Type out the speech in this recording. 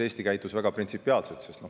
Eesti käitus siin väga printsipiaalselt.